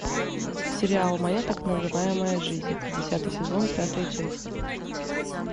сериал моя так называемая жизнь десятый сезон пятая часть